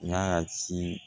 N'a y'a ci